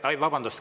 Vabandust!